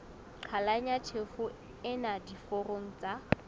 qhalanya tjhefo ena diforong tsa